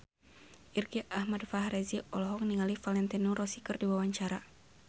Irgi Ahmad Fahrezi olohok ningali Valentino Rossi keur diwawancara